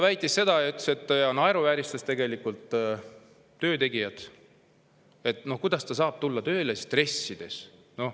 Ta naeruvääristas tegelikult töötegijat ja kuidas ta saab tulla tööle dressides.